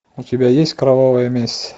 у тебя есть кровавая месть